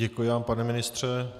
Děkuji vám, pane ministře.